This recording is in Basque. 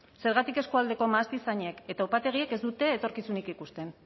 zergatik eskualdeko mahastizainek eta upategiek ez dute etorkizunik ikusten